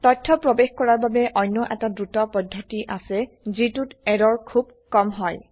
তথ্য প্ৰবেশ কৰাৰ বাবে অন্য এটা দ্ৰুত পদ্ধতি আছে যিটোত এৰৰ খুব কম হয়